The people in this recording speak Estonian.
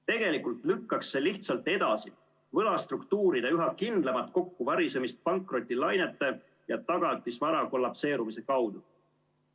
Tegelikult lükkaks see lihtsalt edasi võlastruktuuride üha kindlamat kokkuvarisemist pankrotilainete ja tagatisvara kollabeerumise kaudu.